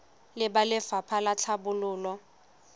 le ba lefapha la tlhabololo